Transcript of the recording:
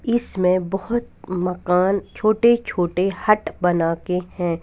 इसमें बहुत मकान छोटे छोटे हट बना के हैं।